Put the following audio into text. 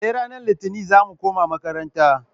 Sai ranar litinin zamu koma makaranta